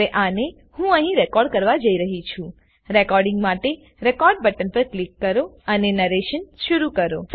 હવે આને હું અહી રેકોર્ડ કરવા જઈ રહી છુરેકોર્ડીંગ માટેRecordબટન પર ક્લિક કરોઅને નરેશન શરુ કરો